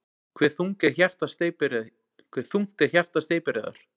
Hve þungt er hjarta steypireyðar?